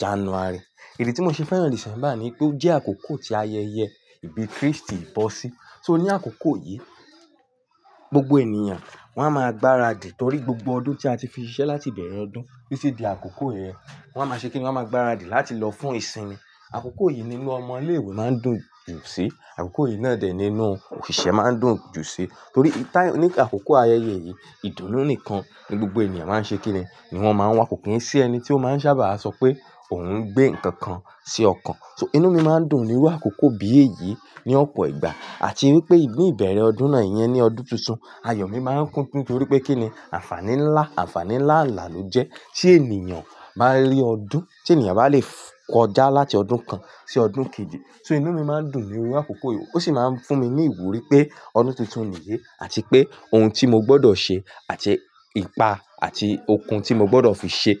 January. Ìdè tí mo ṣe fẹ́ràn December ni pé ó jẹ́ àkókò ti ayẹyẹ ìbí Kristi ìbọ́ sí. So ní àkókò yìí, gbogbo ènìyàn wọ́n máa gbaradì torí gbogbo ọdún tí a ti fiṣẹ́ láti bẹ̀rẹ̀ ọdún títí di àkókò yẹn, wọ́n máa ṣe kíni? Wọ́n máa gbaradì láti lọ fún ìsinmi. Àkókò yìí nínú ọmọ ilé ìwé máa ń dùn jù sí, àkókò yìí náà dẹ̀ nínú òṣìṣẹ́ máa ń dùn jù sí torí ní àkókò ayẹyẹ yìí, ìdùnnú nìkan ni gbogbo ènìyàn máa ń ṣe kíni? Ni wọ́n máa ń wa, kii sí ẹni tí ó máa ń sábà sọ pé òun ń gbé nǹkan kan sí ọkàn. So inú mi máa ń dùn níru àkókò bí èyí ní ọ̀pọ̀ ìgbà. Àti wípé ní ìbẹ̀rẹ̀ ọdún náà yẹn ní ọdún tuntun, ayọ̀ mi máa ń kún tí torí pé kíni? Àǹfààní ńlá, àǹfààní ńlá ńlá ló jẹ́. Ṣé ènìyàn máa le ọdún? Ṣé ènìyàn bá lè kọjá láti ọdún kan sí ọdún kejì? So inú mi máa ń dùn nínu àkókò yìí ó sì máa ń fún mi ní ìwúrí pé ọdún tuntun nìyí àti pé ohun tí mo gbọdọ̀ ṣe àti ipa àti okun tí mo gbọdọ̀ fi ṣe.